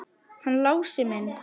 Hann Lási minn!